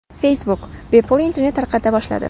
Facebook bepul internet tarqata boshladi.